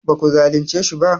ba ku zalince shi ba?